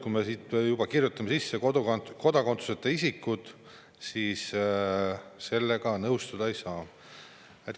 Kui me aga kirjutame sinna sisse kodakondsuseta isikud, siis sellega nõustuda ei saa.